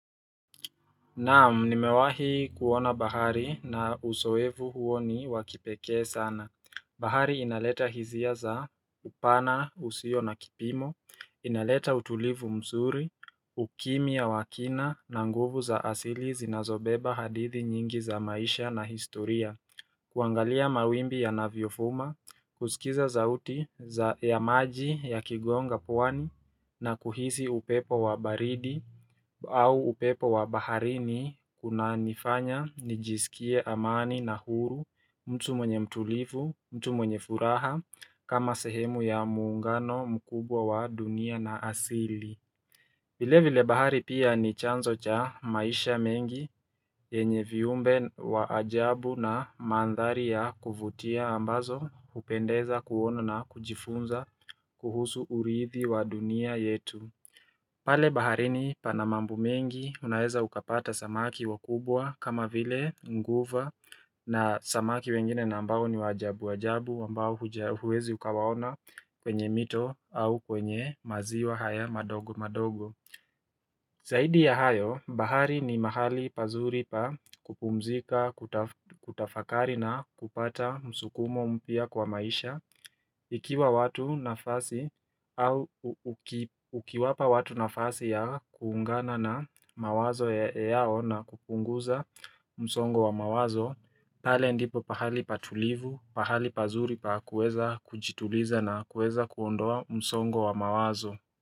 Naam, nimewahi kuona bahari na uzoevu huo ni wakipeke sana. Bahari inaleta hisia za upana, usio na kipimo, inaleta utulivu mzuri, ukimia wa kina na nguvu za asili zinazobeba hadithi nyingi za maisha na historia. Kuangalia mawimbi yanavyofuma, kusikiza zsauti ya maji ya kigonga pwani na kuhisi upepo wa baridi au upepo wa baharini kuna nifanya nijisikie amani na huru mtu mwenye mtulivu, mtu mwenye furaha kama sehemu ya muungano mkubwa wa dunia na asili. Vile vile bahari pia ni chanzo cha maisha mengi yenye viumbe wa ajabu na mandhari ya kuvutia ambazo hupendeza kuono na kujifunza kuhusu urithi wa dunia yetu. Pale baharini pana mambo mengi unaeza ukapata samaki wakubwa kama vile nguva na samaki wengine na ambao ni wa ajabu ajabu ambao huwezi ukawaona kwenye mito au kwenye maziwa haya madogo madogo Zaidi ya hayo, bahari ni mahali pazuri pa kupumzika, kutafakari na kupata msukumo mpya kwa maisha Ikiwa watu nafasi au ukiwapa watu nafasi ya kuungana na mawazo yao na kupunguza msongo wa mawazo, pale ndipo pahali patulivu, pahali pazuri pa kueza kujituliza na kueza kuondoa msongo wa mawazo.